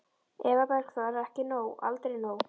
Eva Bergþóra: Ekki nóg, aldrei nóg?